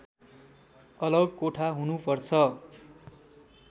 अलग कोठा हुनुपर्छ